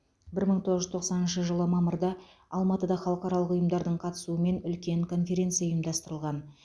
бір мың тоғыз жүз тоқсаныншы жылы мамырда алматыда халықаралық ұйымдардың қатысуымен үлкен конференция ұйымдастырылған